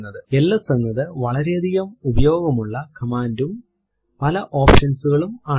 LS എന്നത് വളരെയധികം ഉപയോഗമുള്ള command ഉം പല options കളുള്ളതും ആണ്